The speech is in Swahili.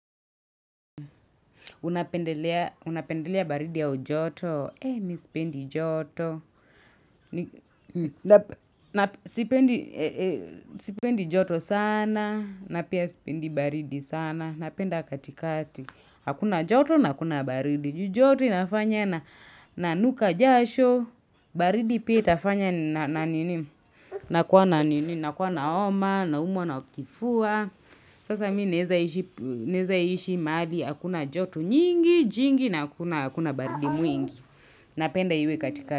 Unapendelea baridi au joto. E, mi sipendi joto. Sipendi joto sana. Na pia sipendi baridi sana. Napenda katikati. Hakuna joto na hakuna baridi. Ju joto inafanya na nuka jasho. Baridi pia itafanya na nini. Nakua na nini. Nakua na homa. Naumwa na ukifua. Sasa mi naezaishi maali akuna jotu nyingi, jingi na akuna baridi mwingi. Napenda iwe katika.